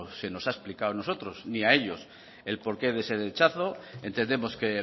se nos ha explicado a nosotros ni a ellos el porqué de ese rechazo entendemos que